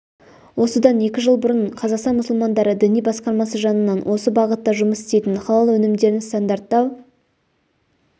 осыдан екі жылдай бұрын қазақстан мұсылмандары діни басқармасы жанынан осы бағытта жұмыс істейтін халал өнімдерін стандарттау